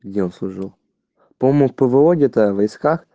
где он служил по моему в пво где то войсках